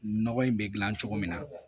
Nɔgɔ in bɛ gilan cogo min na